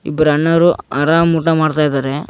ಇಬ್ಬರ ಅಣ್ಣಾರು ಆರಾಮ್ ಊಟ ಮಾಡ್ತಾ ಇದಾರೆ.